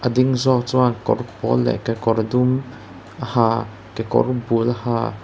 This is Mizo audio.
a ding zawk chuan kawr pawl leh kekawr dum a ha kekawr bul a ha --